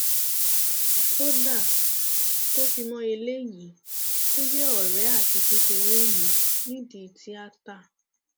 kódà tó fi mọ eléyìí tó jẹ ọrẹ àti kékeré mi nídìí tíátá